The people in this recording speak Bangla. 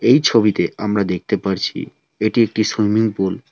এই ছবিতে আমরা দেখতে পারছি এটি একটি সুইমিং পুল ।